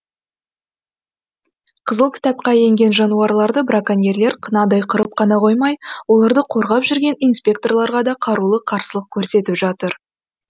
қызыл кітапқа енген жануарларды браконьерлер қынадай қырып қана қоймай оларды қорғап жүрген инспекторларға да қарулы қарсылық көрсетіп жатыр